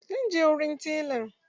Zan je wurin telan.